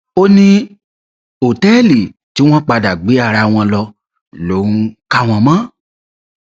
ó ní òtẹẹlì tí wọn padà gbé ara wọn lọ lòún kà wọn mọ